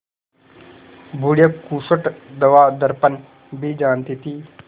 बुढ़िया खूसट दवादरपन भी जानती थी